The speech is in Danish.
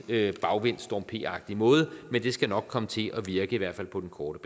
lidt bagvendt storm p agtig måde men det skal nok komme til at virke i hvert fald på den korte